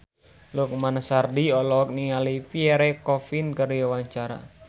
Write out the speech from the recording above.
Lukman Sardi olohok ningali Pierre Coffin keur diwawancara